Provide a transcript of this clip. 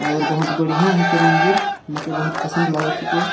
और बहुत बढ़िया हेके मंदिर मोके बहुत पसंद लगत हे।